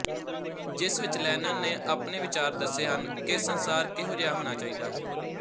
ਜਿਸ ਵਿੱਚ ਲੈਨਨ ਨੇ ਆਪਣੇ ਵਿਚਾਰ ਦੱਸੇ ਹਨ ਕਿ ਸੰਸਾਰ ਕਿਹੋ ਜਿਹਾ ਹੋਣਾ ਚਾਹੀਦਾ ਹੈ